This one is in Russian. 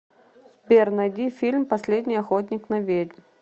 сбер найди фильм последний охотник на ведьм